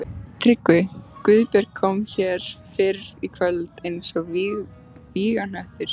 TRYGGVI: Guðbjörg kom hér fyrr í kvöld eins og vígahnöttur.